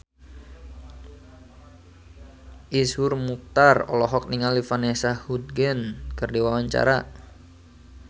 Iszur Muchtar olohok ningali Vanessa Hudgens keur diwawancara